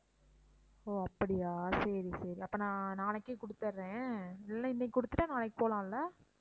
ஓ அப்படியா சரி சரி அப்ப நான் நாளைக்கே கொடுத்துடுறேன் இல்ல இன்னிக்கு கொடுத்துட்டா நாளைக்கு போலாம் இல்ல?